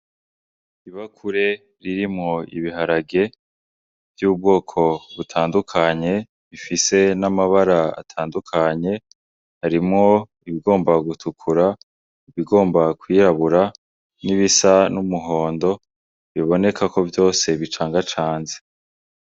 Ibakure ririmwo ibiharage vy'ubwoko butandukanye, bifise n' amabara atandukanye, harimwo ibigomba gutukura, ibigomba gutukura, ibigomba kwirabura n'ibisa n'umuhondo biboneka ko vyose bicangacanze.